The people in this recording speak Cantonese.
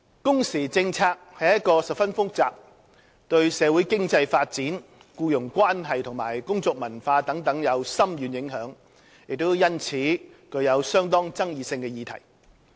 工時政策是一個十分複雜，對社會經濟發展、僱傭關係和工作文化等有深遠影響，亦因此具相當爭議性的議題。